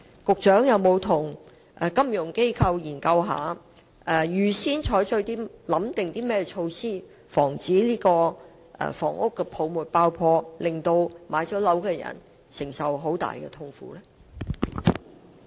局長有否與金融機構進行研究，預早考慮應對措施以防樓市泡沫爆破，避免已經置業的人士承受極大痛苦？